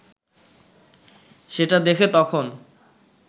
সেটা দেখে তখন